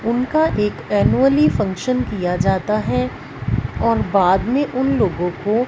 उनका एक annually function किया जाता है और बाद में उन लोगों को--